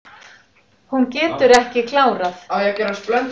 Hún getur ekki klárað.